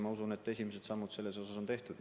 Ma usun, et esimesed sammud selles suunas on tehtud.